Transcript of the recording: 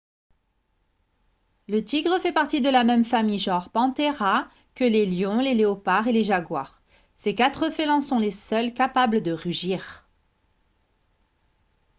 le tigre fait partie de la même famille genre panthera que les lions les léopards et les jaguars. ces quatre félins sont les seuls capables de rugir